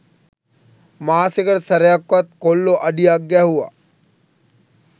මාසෙකට සැරයක්වත් කොල්ලො අඩියක් ගැහුව